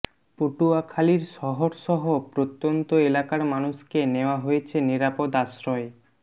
পটুয়াখালীর শহরসহ প্রত্যন্ত এলাকার মানুষকে নেয়া হয়েছে নিরাপদ আশ্রয়ে